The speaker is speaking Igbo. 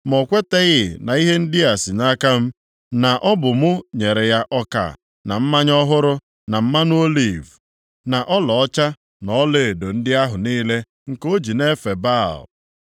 Ma ọ kwetaghị na ihe ndị a si nʼaka m, na ọ bụ mụ nyere ya ọka, na mmanya ọhụrụ, na mmanụ oliv, na ọlaọcha, na ọlaedo ndị ahụ niile nke o ji na-efe Baal.